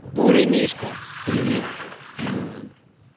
бурый мишка к примеру вот